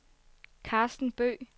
Karsten Bøgh